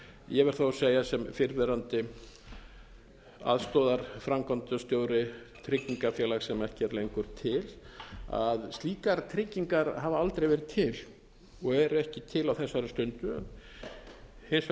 ég verð þó að segja sem fyrrverandi aðstoðarframkvæmdastjóri tryggingafélags sem ekki er lengur til að slíkar tryggingar hafa aldrei verið til og eru ekki til á þessari stundu hins